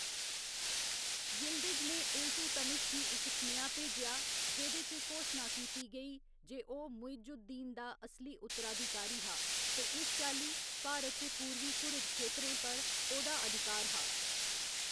Yildiz ने Iltutmish गी इक सनेहा भेजेआ, जेह्‌‌‌दे च घोशना कीती गेई जे ओह्‌‌ मुइजुद् दीन दा असली उत्तराधिकारी हा ते इस चाल्ली, भारत च पूर्वी घुरिद खेतरें पर ओह्‌‌‌दा अधिकार हा।